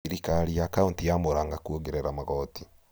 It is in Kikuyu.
thirikari ya kauntĩ ya Mũrang'a kuongerera magoti